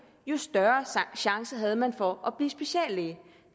jo større chance havde man for at blive speciallæge